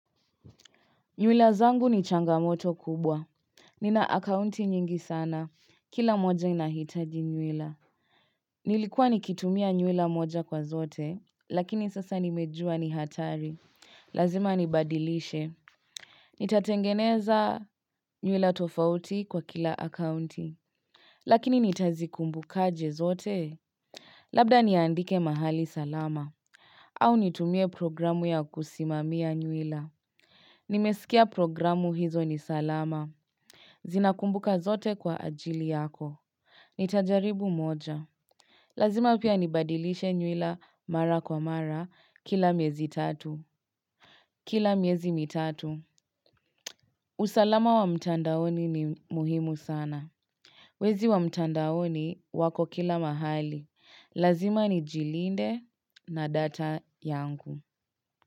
Nywila zangu ni changamoto kubwa Nina akaunti nyingi sana, kila moja inahitaji nywila Nilikuwa nikitumia nywila moja kwa zote, lakini sasa nimejua ni hatari, lazima nibadilishe Nitatengeneza nywila tofauti kwa kila akaunti Lakini nitazikumbukaje zote, labda niandike mahali salama au nitumie programu ya kusimamia nywila Nimesikia programu hizo ni salama. Zinakumbuka zote kwa ajili yako. Nitajaribu moja. Lazima pia nibadilishe nywila mara kwa mara kila miezi tatu. Kila miezi mitatu. Usalama wa mtandaoni ni muhimu sana. Wezi wa mtandaoni wako kila mahali. Lazima ni jilinde na data yangu.